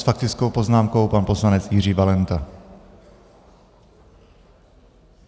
S faktickou poznámkou pan poslanec Jiří Valenta.